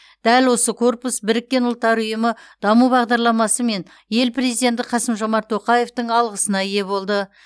дәл осы корпус біріккен ұлттар ұйымы даму бағдарламасы мен ел президенті қасым жомарт тоқаевтың алғысына ие болды